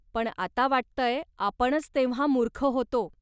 पण आता वाटतंय आपणच तेव्हां मूर्ख होतो.